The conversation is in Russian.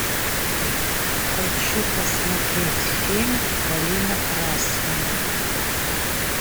хочу посмотреть фильм калина красная